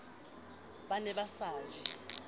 ba ne ba sa je